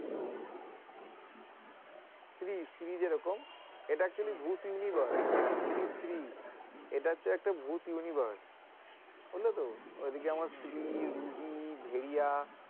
স্ত্রী স্ত্রী যেরকম এটা actually bhoot universe Stree Stree এটা হচ্ছে একটা bhoot universe হল তো, ঐ দিকে আমার স্ত্রী, রুহী, ভেড়িয়া।